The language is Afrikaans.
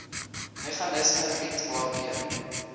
meganisme bied waardeur